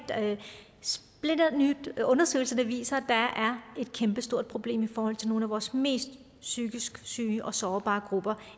splinterny undersøgelse der viser at der er et kæmpestort problem i forhold til nogle af vores mest psykisk syge og sårbare grupper